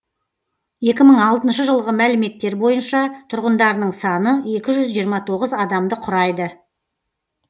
екі мың алтыншы жылғы мәліметтер бойынша тұрғындарының саны екі жүз жиырма тоғыз адамды құрайды